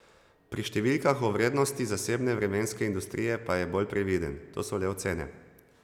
Pri številkah o vrednosti zasebne vremenske industrije pa je bolj previden: "To so le ocene.